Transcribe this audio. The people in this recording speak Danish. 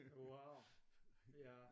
Wow ja